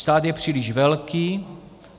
Stát je příliš velký.